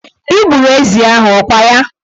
Ị gburu ezi ahụ, ọ kwa ya?